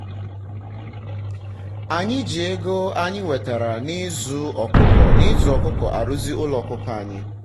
anyị ji ego anyị ego anyị nwetara na-ịzụ ọkụkọ arụzi ụlọ ọkụkọ anyị